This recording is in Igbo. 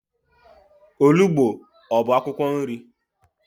Olugbo ọ bụ akwụkwọ nri?